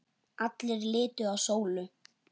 Allir litu á Sólu.